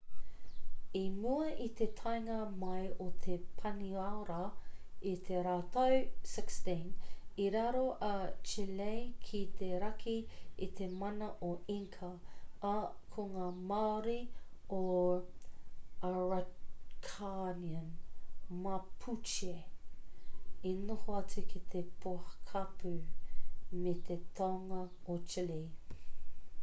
i mua i te taenga mai o te paniora i te rautau 16 i raro a chile ki te raki i te mana o inca ā ko ngā māori o araucanian mapuche i noho atu ki te pokapū me te tonga o chile